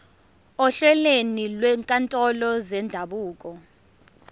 ohlelweni lwezinkantolo zendabuko